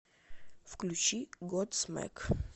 включи годсмак